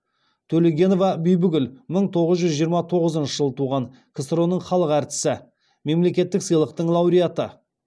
төлегенова бибігүл мың тоғыз жүз жиырма тоғызыншы жылы туған ксро ның халық әртісі мемлекеттік сыйлықтың лауреаты